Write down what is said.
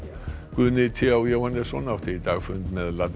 Guðni t h Jóhannesson átti í dag fund með